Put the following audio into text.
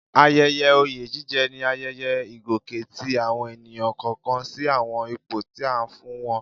Ayẹyẹ oyè jíjẹ ni ayẹyẹ ìgòkè tí àwọn ènìyàn kọ̀ọ̀kan sí àwọn ipò tí a fún wọn